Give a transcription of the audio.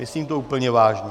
Myslím to úplně vážně!